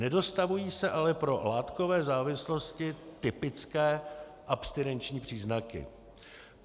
Nedostavují se ale pro látkové závislosti typické abstinenční příznaky.